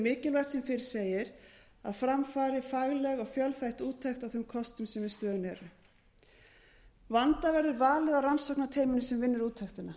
mikilvægt sem fyrr segir að fram fari fagleg og fjölþætt úttekt á þeim kostum sem í stöðunni eru vanda verður valið á rannsóknarteyminu sem vinnur úttektina